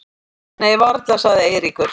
Nei varla sagði Eiríkur.